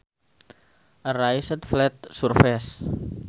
A raised flat surface